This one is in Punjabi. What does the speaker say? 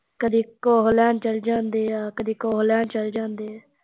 ਕਦੀ ਕੁਸ਼ ਲੈਣ ਚੱਲ ਜਾਂਦੇ ਆ ਕਦੀ ਕੁਸ਼ ਲੈਣ ਚੱਲ ਜਾਂਦੇ ਆ